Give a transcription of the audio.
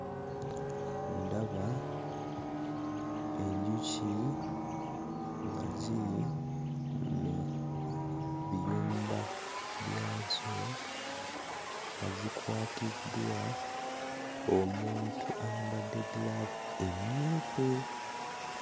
Ndaba enjuki nga ziri mu biyumba byazo nga zikwatiddwa omuntu ayambadde giraavu emmyufu.